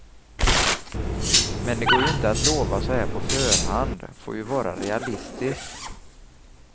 Men det går ju inte att lova så här på förhand, får ju vara realistisk.